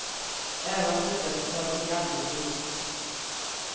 Även om han tycker att de tar i alldeles för mycket.